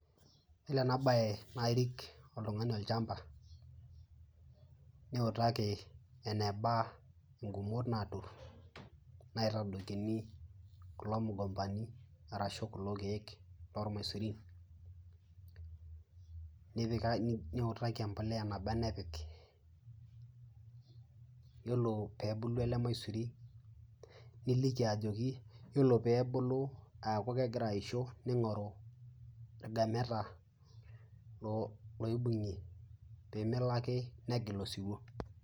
Yiolo ena bae naa irik oltungani olchampa, niutaki eneba ngumot naatur naitadoikini kulo mogombani orashu kulo keek lormaisurin, niutaki embolea eneba enapik .Yiolo pee ebulu ele maisuri niliki ajoki yiolo pee ebulu aaku kegira aisho neingoru irgameta oibungie pee melo ake negil osiwuo.